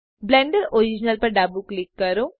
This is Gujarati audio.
બ્લેન્ડર ઓરિજિનલ પર ડાબું ક્લિક કરો